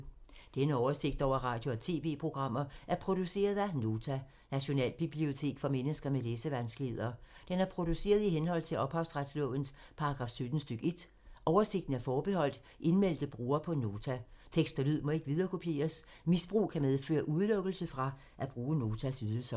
Denne oversigt over radio og TV-programmer er produceret af Nota, Nationalbibliotek for mennesker med læsevanskeligheder. Den er produceret i henhold til ophavsretslovens paragraf 17 stk. 1. Oversigten er forbeholdt indmeldte brugere på Nota. Tekst og lyd må ikke viderekopieres. Misbrug kan medføre udelukkelse fra at bruge Notas ydelser.